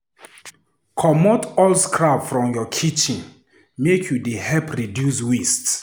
Comot all scrap from your kitchen, make you dey help reduce waste.